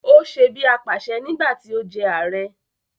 Ó se bí apàṣẹ nígbà tí ó jẹ ààrẹ